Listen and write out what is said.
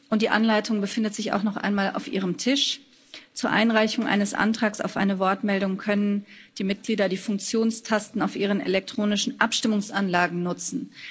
und die Anleitung befindet sich auch noch einmal auf Ihrem Tisch. Zur Einreichung eines Antrags auf eine Wortmeldung können die Mitglieder die Funktionstasten auf ihren elektronischen Abstimmungsanlagen nutzen.